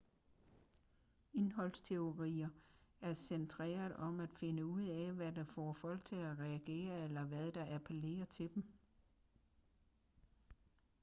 indholdsteorier er centreret om at finde ud af hvad der får folk til at reagere eller hvad der appellerer til dem